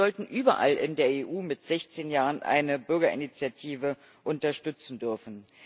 Sie sollten überall in der EU mit sechzehn Jahren eine Bürgerinitiative unterstützen dürfen.